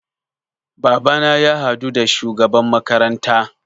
Babana ya haɗu da shugaban makaranta